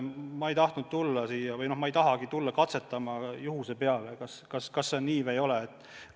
Ma ei tahtnud siia tulla ega taha ka edaspidi tulla katsetama, kas läheb läbi või ei lähe.